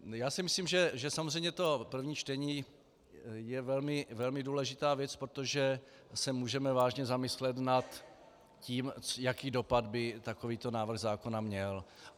Já si myslím, že samozřejmě to první čtení je velmi důležitá věc, protože se můžeme vážně zamyslet nad tím, jaký dopad by takovýto návrh zákona měl.